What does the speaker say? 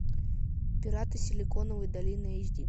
пираты силиконовой долины эйч ди